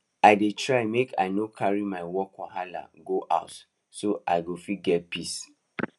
i dey try make i no carry my work wahala go house so i go fit get peace